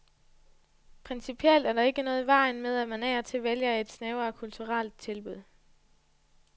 Principielt er der ikke noget i vejen med at man af og til vælger et snævrere kulturelt tilbud.